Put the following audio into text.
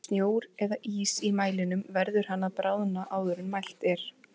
Sé snjór eða ís í mælinum verður hann að bráðna áður en mælt er.